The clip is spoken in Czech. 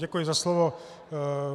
Děkuji za slovo.